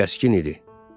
Kəskin idi.